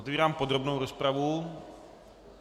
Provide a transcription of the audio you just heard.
Otevírám podrobnou rozpravu.